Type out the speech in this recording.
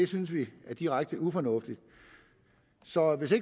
synes vi er direkte ufornuftigt så hvis